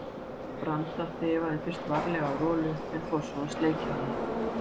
Branda þefaði fyrst varlega af Rolu en fór svo að sleikja hana.